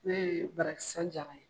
Ne ye Barakisan Jara